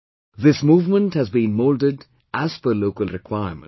This movement has been moulded as per local requirements